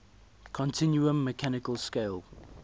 continuum mechanical scale